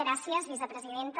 gràcies vicepresidenta